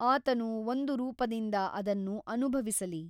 ಆತನು ಒಂದು ರೂಪದಿಂದ ಅದನ್ನು ಅನುಭವಿಸಲಿ.